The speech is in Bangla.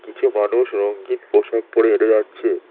কিছু মানুষ রঙ্গিন পোশাক পরে হেঁটে যাচ্ছে